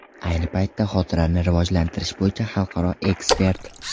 Ayni paytda xotirani rivojlantirish bo‘yicha xalqaro ekspert.